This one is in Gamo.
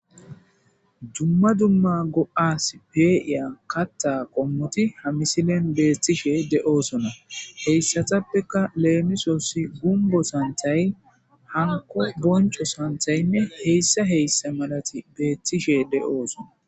Dumma dumma go7as peeiya katta qommoti ha misilen beettishe de7oosona heyssatappeka leemisosi gumbo santhay hanko bonco santhaynne heyssa heyssa malati beettishe de7oosona.